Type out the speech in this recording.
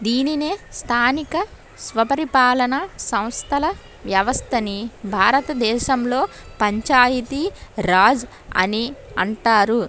దీనినే స్థానిక స్వపరిపాలన సంస్థల వ్యవస్థని భారత దేశంలో పంచాయతీ రాజ్ అని అంటారు.